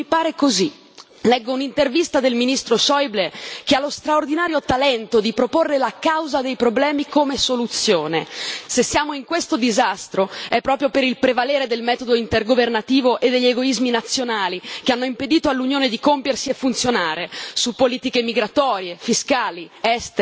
Leggo un'intervista del ministro Schäuble che ha lo straordinario talento di proporre la causa dei problemi, come soluzione. Se siamo in questo disastro è proprio per il prevalere del metodo intergovernativo e degli egoismi nazionali, che hanno impedito all'Unione di compiersi e funzionare, su politiche migratorie, fiscali, estere, sociali.